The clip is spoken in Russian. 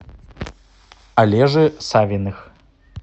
олежи савиных